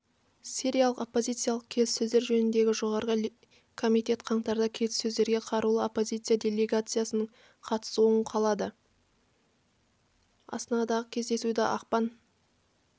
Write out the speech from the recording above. сириялық оппозициялық келіссөздер жөніндегі жоғарғы комитет қаңтарда келіссөздерде қарулы оппозиция делегациясының қатысуын қолады астанадағы кездесуді ақпан